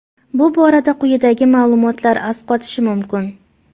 Bu borada quyidagi ma’lumotlar asqatishi mumkin.